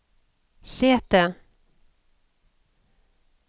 sete